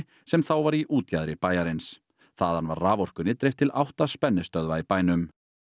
sem þá var í útjaðri bæjarins þaðan var raforkunni dreift til átta spennistöðva í bænum